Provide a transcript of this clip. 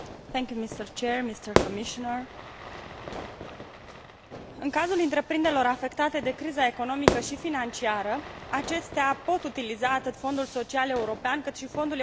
În cazul întreprinderilor afectate de criza economică și financiară, acestea pot utiliza atât Fondul social european cât și Fondul european de ajustare la globalizare pentru a sprijini persoanele disponibilizate.